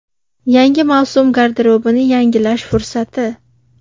Yangi mavsum garderobni yangilash fursati.